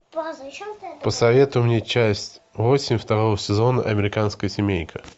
посоветуй мне часть восемь второго сезона американская семейка